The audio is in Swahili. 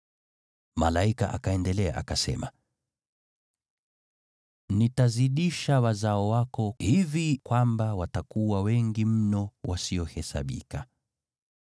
Malaika akaendelea akasema, “Nitazidisha wazao wako, hivi kwamba watakuwa wengi mno wasiohesabika.”